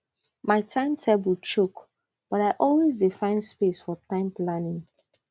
my time table choke but i always dey find space for time planning